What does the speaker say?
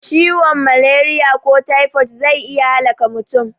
Ciwon malariya na tifo zai iya halaka mutum